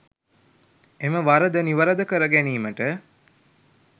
එම වරද නිවරද කර ගැනීමට